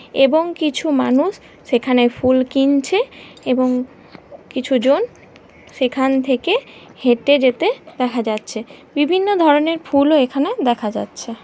এবং কিছু মানুষ সেখানে ফুল কিনছে এবং কিছু জন সেখান থেকে হেঁটে যেতে দেখা যাচ্ছে। বিভিন্ন ধরনের ফুল ও এখানে দেখা যাচ্ছে।